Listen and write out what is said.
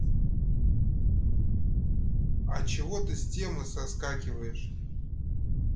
а чего ты с темы соскакиваешь